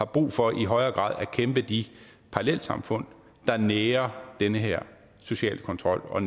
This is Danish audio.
brug for i højere grad at bekæmpe de parallelsamfund der nærer den her sociale kontrol og